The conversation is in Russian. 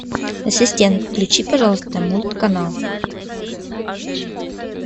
ассистент включи пожалуйста мульт канал